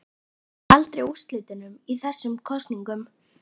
Maðurinn fór sannarlega ekki alfaraleið í fjárprettum sínum.